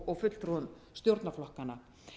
og fulltrúum stjórnarflokkanna